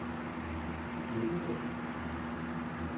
Vipperød